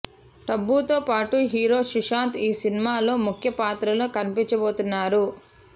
టబు తో పాటు హీరో సుశాంత్ ఈ సినిమా లో ముఖ్య పాత్రలో కనిపించబోతున్నారు